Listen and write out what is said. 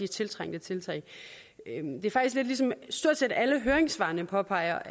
tiltrængte tiltag som stort set alle høringssvarene påpeger